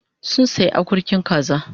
Sun sayi akurkin kaza